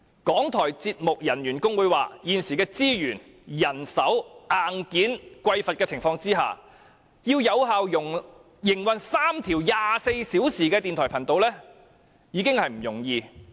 港台節目人員工會表示，在現時資源、人手和硬件匱乏的情況下，要有效營運3條24小時的電台頻道已經不容易。